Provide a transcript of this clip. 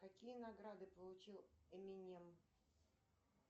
какие награды получил эминем